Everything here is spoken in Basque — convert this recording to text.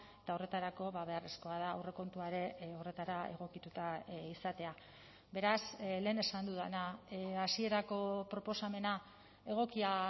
eta horretarako beharrezkoa da aurrekontua ere horretara egokituta izatea beraz lehen esan dudana hasierako proposamena egokia